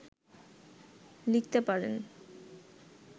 লিখতে পারেন